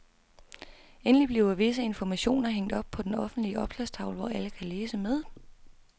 Endelig bliver visse informationer hængt op på den offentlige opslagstavle, hvor alle kan læse med.